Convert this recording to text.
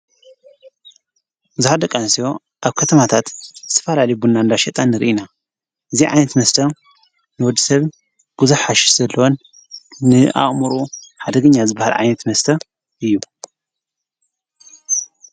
ብዝኃደ ቃ ንሴዮ ኣብ ከተማታት ስፋልሊቡእና ንላሸጣን ርኢና እዚ ዓይንት መስተ ንወድ ሰብ ጕዙሕሓሽሽ ዘለወን ንኣእሙሩ ሓደግኛ ዝበሃል ኣይኔት መስተ እዩ።